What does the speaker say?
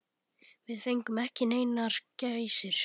Við fengum ekki neinar gæsir.